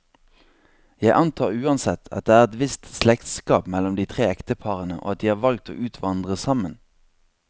Jeg antar uansett, at det er et visst slektskap mellom de tre ekteparene, og at de har valgt å utvandre sammen.